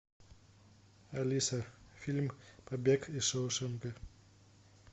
алиса фильм побег из шоушенка